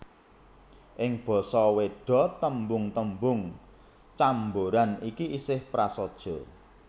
Ing basa Wéda tembung tembung camboran iki isih prasaja